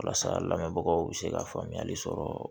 Walasa lamɛnbagaw bɛ se ka faamuyali sɔrɔ